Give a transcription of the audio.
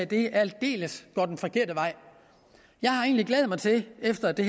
den aldeles forkerte vej jeg har egentlig glædet mig til efter det